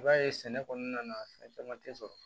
I b'a ye sɛnɛ kɔnɔna na fɛn caman tɛ sɔrɔ